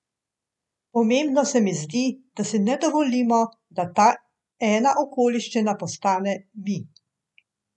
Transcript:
Pomembno se mi zdi, da si ne dovolimo, da ta ena okoliščina postane mi.